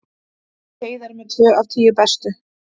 Heiðar með tvö af tíu bestu